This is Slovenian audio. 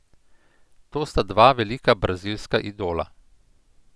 To sta dva velika brazilska idola.